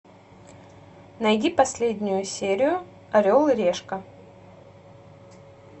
найди последнюю серию орел и решка